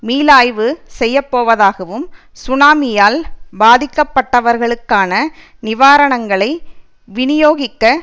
மீளாய்வு செய்ய போவதாகவும் சுனாமியால் பாதிக்கப்பட்டவர்களுக்கான நிவராணங்களை விநியோகிக்க